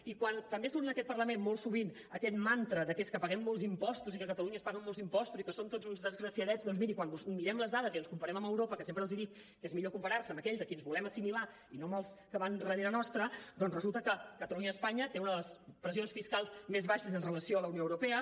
i quan també surt en aquest parlament molt sovint aquell mantra de que és que paguem molts impostos i que a catalunya es paguen molts impostos i som tots uns desgraciadets doncs miri quan mirem les dades i ens comparem amb europa que sempre els dic que és millor comparar se amb aquells a qui que ens volem assimilar i no amb els que van darrere nostre doncs resulta que catalunya i espanya tenen una de les pressions fiscals més baixes amb relació a la unió europea